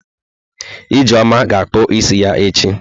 Ijeoma ga-akpụ isi ya echi.